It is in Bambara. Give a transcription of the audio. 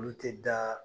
Olu tɛ da